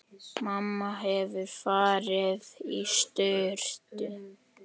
Mamma hefur farið í sturtu.